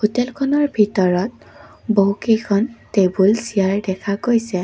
হোটেলখনৰ ভিতৰত বহু কেইখন টেবুল চিয়াৰ দেখা গৈছে।